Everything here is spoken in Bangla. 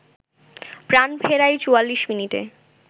প্রাণ ফেরায় ৪৪ মিনিটে